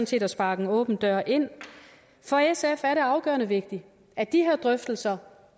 set at sparke en åben dør ind for sf er det afgørende vigtigt at de her drøftelser